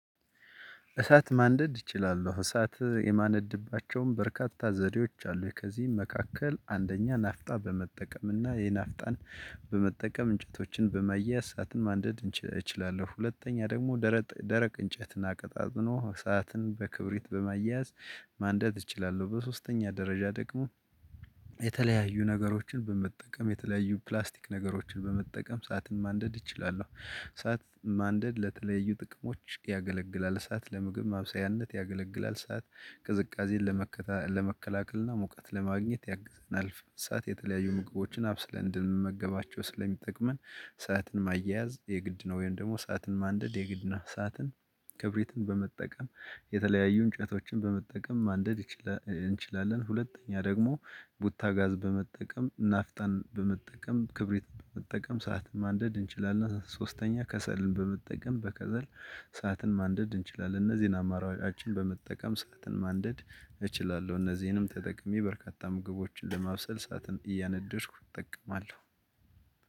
እሳት ማንደድ እችላለሁ እሳት የማነድባቸውም በርካታ ዘዴዎች አሉኝ ከዚህም መካከል አንደኛ ናፍጣ በመጠቀም እና የናፍጣን በመጠቀም እንጨቶችን በማያያዝ ሰዓትን ማንደድ እችላለሁ። ሁለተኛ ደግሞ ደረቅ እንጨት እና አቀጣጥኖ ሰዓትን በክብሪት በማያያዝ ማንደድ እችላለሁ። በሶስተኛ ደረጃ ደግሞ የተለያዩ ነገሮችን በመጠቀም የተለያዩ ፕላስቲክ ነገሮችን በመጠቀም እሳትን ማንደድ እችላለሁ። እሳት ማንደድ ለተለያዩ ጥቅሞች ያገለግላል እሳት ለምግብ ማብሰያነት ያገለግላል። እሳት ቅዝቃዜን ለመከላከልና ሙቀት ለማግኘት ያግዘናል። እሳት የተለያዩ ምግቦችን አብስለን እንድንመገባቸው ስለሚጠቅመን እሳትን ማያያዝ የግድ ነው። ወይም ደግሞ እሳትን ማንደድ የግድ ነው። እሳትን ክብሪትን በመጠቀም የተለያዩ እንጨቶችን በመጠቀም ማንደድ እንችላለን። ሁለተኛ ደግሞ ቡታ ጋዝ በመጠቀም ናፍጣን በመጠቀም ክብሪት በመጠቀም እሳትን ማንደድ እንችላለን። ሶስተኛ ከሰልን በመጠቀም በከሰል እሳትን ማንደድ እንችላለን። እነዚህን አማራጫችን በመጠቀም እሳትን ማንደድ እችላለሁ። እነዚህንም ተጠቅሜ በርካታ ምግቦችን ለማብሰል እሳትን እያነደድኩ እጠቀማለሁ።